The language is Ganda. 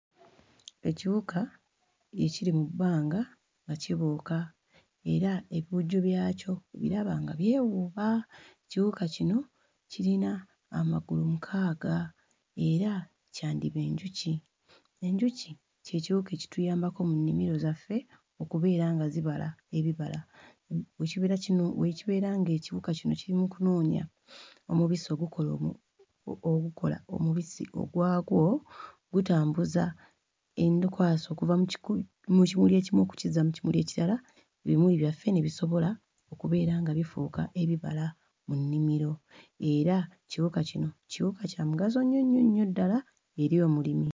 Ekiwuka ekiri mu bbanga nga kibuuka era ebiwujjo byakyo obiraba nga byewuuba. Ekiwuka kino kirina amagulu mukaaga era kyandiba enjuki. Enjuki kye kiwuka ekituyambako mu nnimiro zaffe okubeera nga zibala ebibala bwe kibeera kino... bwe kibeera ng'ekiwuka kino kiri mu kunoonya omubisi ogukola omu... ogukola omubisi ogwagwo gutambuza enkwaso okuva mu kimuli ekimu okukizza mu kimuli ekirala, ebimuli byaffe ne bisobola okubeera nga bifuuka ebibala mu nnimiro era ekiwuka kino kiwuka kya mugaso nnyo nnyo nnyo ddala eri omulimi.